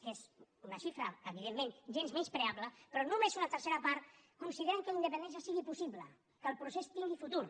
que és una xifra evidentment gens menyspreable però només una tercera part consideren que la independència sigui possible que el procés tingui futur